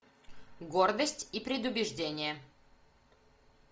гордость и предубеждение